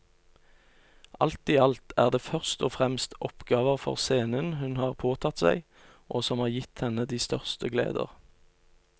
Alt i alt er det først og fremst oppgaver for scenen hun har påtatt seg og som har gitt henne de største gleder.